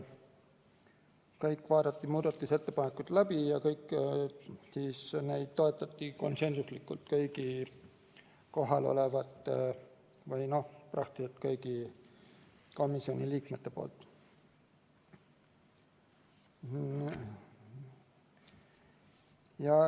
Kõik muudatusettepanekud vaadati läbi ja komisjoni liikmed toetasid kõiki neid konsensuslikult.